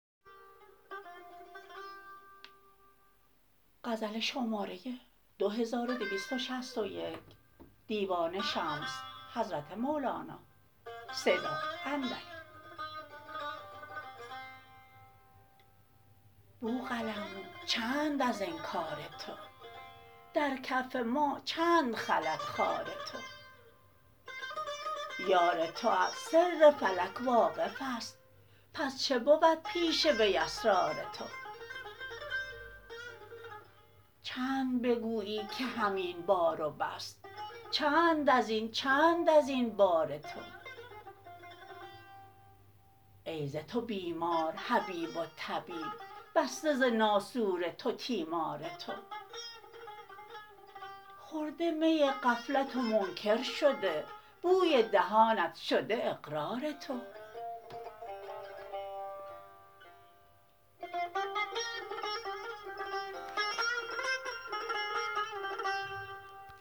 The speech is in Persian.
بوقلمون چند از انکار تو در کف ما چند خلد خار تو یار تو از سر فلک واقف است پس چه بود پیش وی اسرار تو چند بگویی که همین بار و بس چند از این چند از این بار تو ای ز تو بیمار حبیب و طبیب بسته ز ناسور تو تیمار تو خورده می غفلت و منکر شده بوی دهانت شده اقرار تو